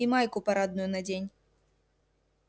и майку парадную надень